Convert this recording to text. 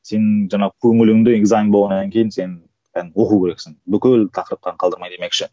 сенің жаңағы көңіліңде экзамен болғаннан кейін сен оқу керексің бүкіл тақырыптарын қалдырмай демекші